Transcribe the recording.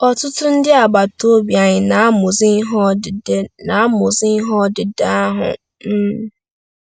Ọtụtụ ndị agbata obi anyị na-amụzi ihe odide na-amụzi ihe odide ahụ. um ”